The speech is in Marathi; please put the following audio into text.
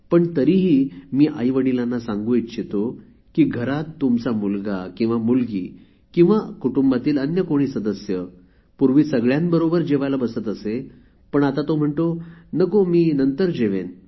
पण तरीही मी आईवडिलांना सांगू इच्छितो की घरात तुमचा मुलगा मुलगी किंवा कुटुंबातील अन्य कोणी सदस्य पूर्वी सगळ्यांबरोबर जेवायला बसत असे पण आता तो म्हणतो नको मी नंतर जेवेन